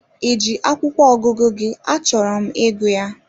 Ị ji akwụkwọ ọgụgụ gị achọrọ m ịgụ ya?